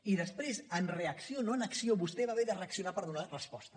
i després en reacció no en acció vostè va haver de reaccionar per donar hi resposta